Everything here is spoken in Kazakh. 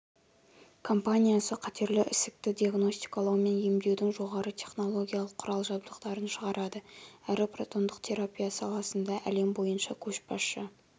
компаниясы қатерлі ісікті диагностикалау мен емдеудің жоғары технологиялық құрал-жабдықтарын шығарады әрі протондық терапиясаласында әлем бойынша көшбасшы